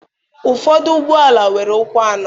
Ụfọdụ ụgbọala nwere ụkwụ anọ.